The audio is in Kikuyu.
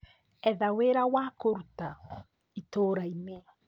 Etha wĩra wa kũruta itura-inĩ